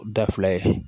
Da fila ye